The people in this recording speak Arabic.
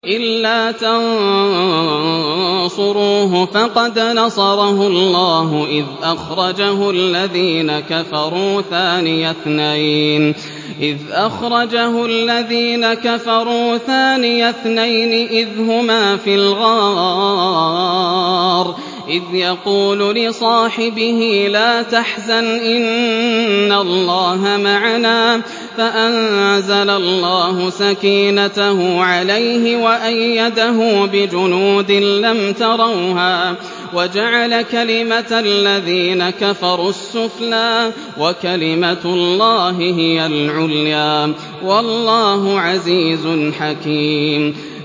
إِلَّا تَنصُرُوهُ فَقَدْ نَصَرَهُ اللَّهُ إِذْ أَخْرَجَهُ الَّذِينَ كَفَرُوا ثَانِيَ اثْنَيْنِ إِذْ هُمَا فِي الْغَارِ إِذْ يَقُولُ لِصَاحِبِهِ لَا تَحْزَنْ إِنَّ اللَّهَ مَعَنَا ۖ فَأَنزَلَ اللَّهُ سَكِينَتَهُ عَلَيْهِ وَأَيَّدَهُ بِجُنُودٍ لَّمْ تَرَوْهَا وَجَعَلَ كَلِمَةَ الَّذِينَ كَفَرُوا السُّفْلَىٰ ۗ وَكَلِمَةُ اللَّهِ هِيَ الْعُلْيَا ۗ وَاللَّهُ عَزِيزٌ حَكِيمٌ